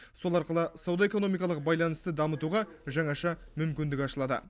сол арқылы сауда экономикалық байланысты дамытуға жаңаша мүмкіндік ашылады